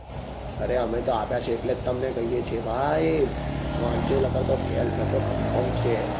અરે અમે તો આપ્યા છે એટલે તો તમને કહીએ છીએ ભાઈ વાંચો નકાર તો fail ઠસો confirm છે